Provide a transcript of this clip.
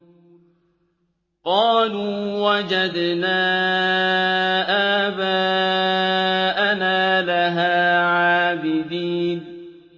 قَالُوا وَجَدْنَا آبَاءَنَا لَهَا عَابِدِينَ